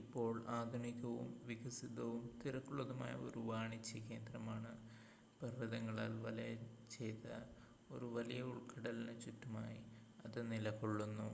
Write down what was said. ഇപ്പോൾ ആധുനികവും വികസിതവും തിരക്കുള്ളതുമായ ഒരു വാണിജ്യ കേന്ദ്രമാണ് പർവ്വതങ്ങളാൽ വലയം ചെയ്ത് ഒരു വലിയ ഉൾക്കടലിന് ചുറ്റുമായി അത് നിലകൊള്ളുന്നു